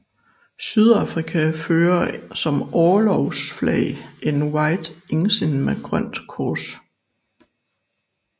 Sydafrika fører som orlogsflag en White Ensign med grønt kors